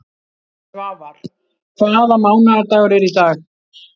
Svafar, hvaða mánaðardagur er í dag?